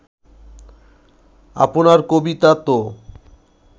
আপনার কবিতা তো